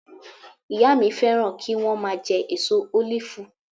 Ìyá mi fẹ́ràn kí wọ́n máa jẹ èso ólífù